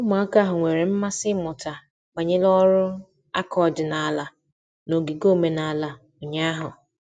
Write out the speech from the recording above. Ụmụaka ahụ nwere mmasị ịmụta banyere ọrụ aka ọdịnala n'ogige omenala ụnyahụ.